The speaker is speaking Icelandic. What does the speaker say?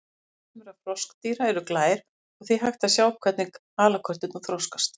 Egg sumra froskdýra eru glær og því hægt að sjá hvernig halakörturnar þroskast.